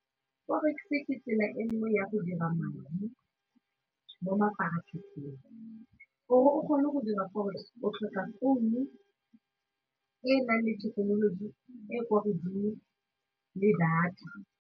Forex-e ke tsela e nngwe ya go dira madi mo mafaratlhatlheng, gore o kgone go dira forex-e o tlhoka e enang le thekenoloji e kwa godimo le data.